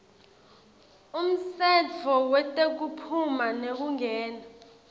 umtsetfo wetekuphuma nekungena